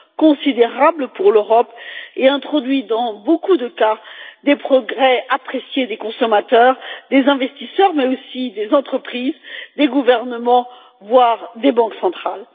considérable pour l'Europe et introduit dans beaucoup de cas des progrès appréciés des consommateurs, des investisseurs mais aussi des entreprises, des gouvernements, voire des banques centrales.